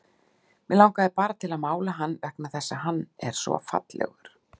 Mig langar bara til að mála hann vegna þess að hann er svo fallegur.